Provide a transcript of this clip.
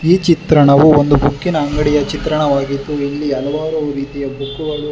ಈ ಚಿತ್ರಣವು ಒಂದು ಬುಕ್ಕಿನ ಅಂಗಡಿಯ ಚಿತ್ರಣವಾಗಿದ್ದು ಇಲ್ಲಿ ಹಲವಾರು ರೀತಿಯ ಬುಕ್ಕುಗಳು--